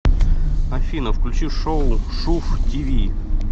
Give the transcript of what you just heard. афина включи шоу шув ти ви